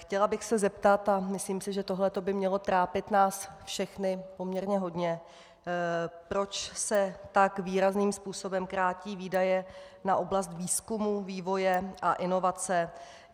Chtěla bych se zeptat, a myslím si, že tohle to by mělo trápit nás všechny poměrně hodně, proč se tak výrazným způsobem krátí výdaje na oblast výzkumu, vývoje a inovací.